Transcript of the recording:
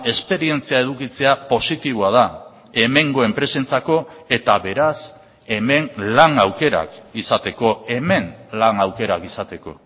esperientzia edukitzea positiboa da hemengo enpresentzako eta beraz hemen lan aukerak izateko hemen lan aukerak izateko